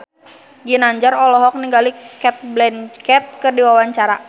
Ginanjar olohok ningali Cate Blanchett keur diwawancara